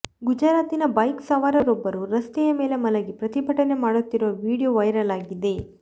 ಗುಜರಾತಿನ ಬೈಕ್ ಸವಾರರೊಬ್ಬರು ರಸ್ತೆಯ ಮೇಲೆ ಮಲಗಿ ಪ್ರತಿಭಟನೆ ಮಾಡುತ್ತಿರುವ ವೀಡಿಯೋ ವೈರಲ್ ಆಗಿದೆ